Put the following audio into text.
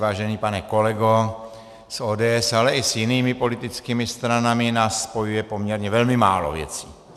Vážený pane kolego, s ODS, ale i s jinými politickými stranami nás spojuje poměrně velmi málo věcí.